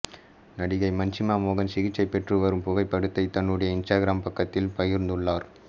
நடிகை மஞ்சிமா மோகன் சிகிச்சை பெற்று வரும் புகைப்படத்தை தன்னுடைய இன்ஸ்டாகிராம் பக்கத்தில் பகிர்ந்துள்ளார்